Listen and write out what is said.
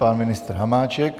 Pan ministr Hamáček.